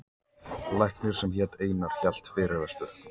Læknir sem hét Einar hélt fyrirlestur.